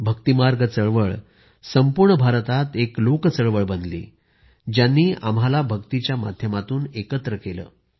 भक्तिमार्ग चळवळ संपूर्ण भारतात एक लोक चळवळ बनली ज्यांनी आम्हाला भक्तीच्या माध्यमातून एकत्र केले